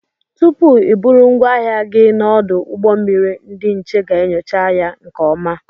Tụpụ I bụrụ ngwaahịa gị n'odu ụgbọ mmiri ndị nche ga-enyocha ya nke ọma.